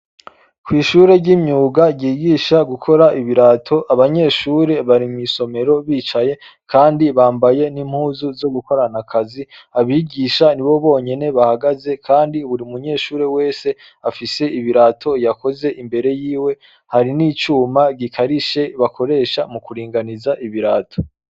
Kw'ishure ry'imyuga ryigisha gukora ibirato, abanyeshure bari mw'isomero bicaye kandi bambaye n'impuzu zo gukorana akazi, abigisha nibo bonyene bahagaze kandi buri munyeshure wese afise ibirato yakoze imbere yiwe, hari n'icuma gikarishe bakoresha mu kuringaniza ibirato.